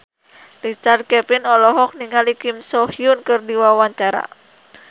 Richard Kevin olohok ningali Kim So Hyun keur diwawancara